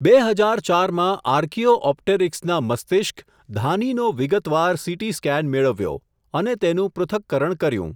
બે હઝાર ચાર માં આર્કીઓ ઓપટેરીક્સના મસ્તિષ્ક, ધાનીનો વિગતવાર સીટી સ્કેન મેળવ્યો, અને તેનું પૃથ્થકરણ કર્યું.